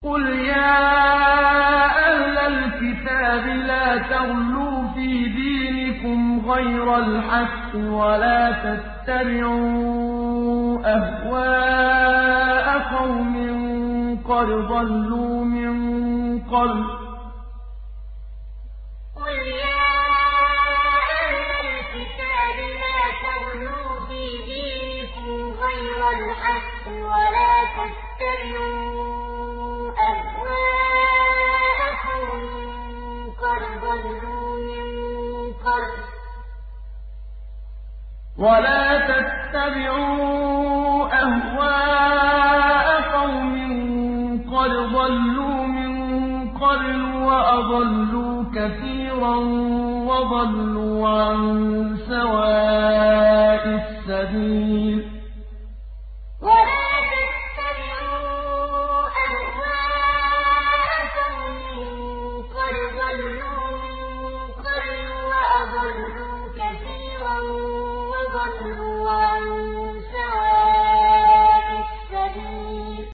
قُلْ يَا أَهْلَ الْكِتَابِ لَا تَغْلُوا فِي دِينِكُمْ غَيْرَ الْحَقِّ وَلَا تَتَّبِعُوا أَهْوَاءَ قَوْمٍ قَدْ ضَلُّوا مِن قَبْلُ وَأَضَلُّوا كَثِيرًا وَضَلُّوا عَن سَوَاءِ السَّبِيلِ قُلْ يَا أَهْلَ الْكِتَابِ لَا تَغْلُوا فِي دِينِكُمْ غَيْرَ الْحَقِّ وَلَا تَتَّبِعُوا أَهْوَاءَ قَوْمٍ قَدْ ضَلُّوا مِن قَبْلُ وَأَضَلُّوا كَثِيرًا وَضَلُّوا عَن سَوَاءِ السَّبِيلِ